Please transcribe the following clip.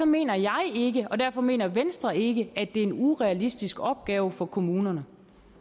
mener jeg ikke og derfor mener venstre ikke at det er en urealistisk opgave for kommunerne